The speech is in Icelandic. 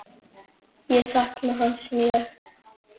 Ég sakna hans mjög.